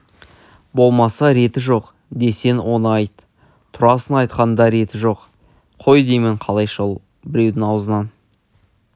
болмаса реті жоқ десең оны айт турасын айтқанда реті жоқ қой деймін қалайша ол біреудің аузынан